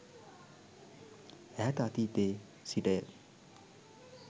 ඈත අතීතයේ සිටය.